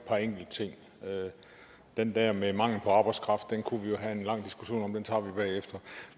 par enkelte ting den der med mangel på arbejdskraft kunne vi jo have en lang diskussion om og den tager vi bagefter